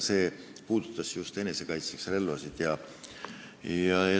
See puudutas just enesekaitseks soetatud relvi.